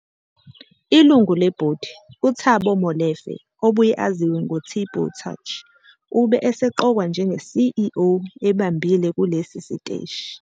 Ilungu lebhodi, uThabo Molefe obuye aziwe ngoTbo Touch ube eseqokwa njenge-CEO ebambile kulesi siteshi.